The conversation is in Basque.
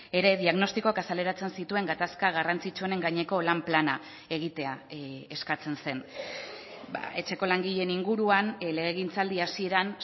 ere diagnostikoak azaleratzen zituen gatazka garrantzitsuenen gaineko lan plana egitea eskatzen zen etxeko langileen inguruan legegintzaldi hasieran